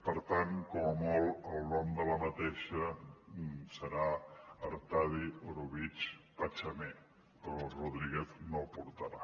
per tant com a molt el nom d’aquesta serà artadi orobitg pachamé però el rodríguez no el portarà